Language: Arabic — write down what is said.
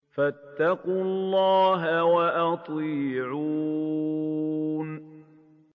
فَاتَّقُوا اللَّهَ وَأَطِيعُونِ